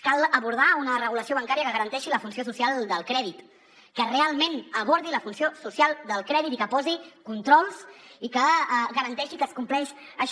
cal abordar una regulació ban·cària que garanteixi la funció social del crèdit que realment abordi la funció social del crèdit i que posi controls i que garanteixi que es compleix això